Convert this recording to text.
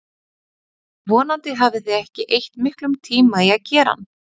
Vonandi hafið þið ekki eytt miklum tíma í að gera hann.